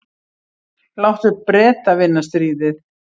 Láttu Breta vinna stríðið.